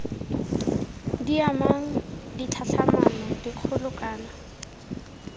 di amang ditlhatlhamano dikgolo kana